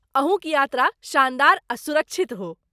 अहूँक यात्रा शानदार आ सुरक्षित हो।